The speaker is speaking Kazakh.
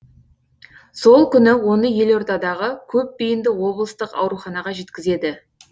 сол күні оны елордадағы көпбейінді облыстық ауруханаға жеткізеді